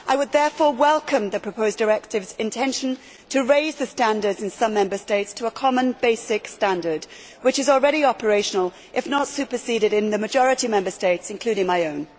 I would therefore welcome the proposed directive's intention to raise the standards in some Member States to a common basic standard which is already operational, if not exceeded, in the majority of Member States, including my own.